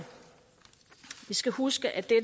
vi skal huske at